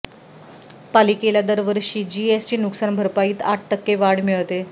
पालिकेला दरवर्षी जीएसटी नुकसान भरपाईत आठ टक्के वाढ मिळते